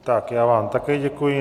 Tak já vám také děkuji.